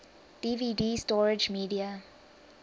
dvd storage media